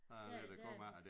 Der er lidt at komme efter